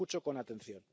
Escucho con atención.